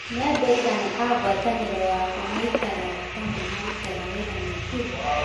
Nĩ andũ aigana a ngwatanĩro yakwa maikaraga kana marutaga wĩra Naikuru?